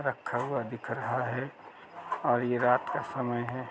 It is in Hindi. रखा हुआ दिख रहा है और यह रात का समय है।